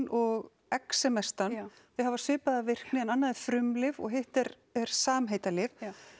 og þau hafa svipaða virkni en annað er frumlyf og hitt er er samheitalyf